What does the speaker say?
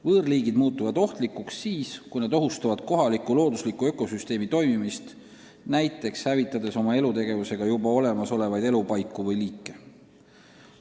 Võõrliigid muutuvad ohtlikuks siis, kui nad ohustavad kohaliku loodusliku ökosüsteemi toimimist, näiteks hävitades oma elutegevusega juba olemasolevaid elupaiku või liike.